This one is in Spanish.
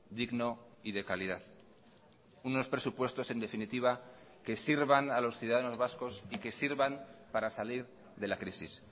digno y de calidad unos presupuestos en definitiva que sirvan a los ciudadanos vascos y que sirvan para salir de la crisis